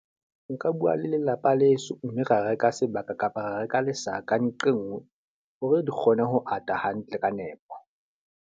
Nka bua le lelapa leso mme ra reka sebaka kapa ra reka lesaka nqe nngwe hore di kgone ho ata hantle ka nepo.